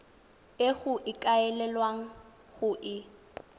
e go ikaelelwang go e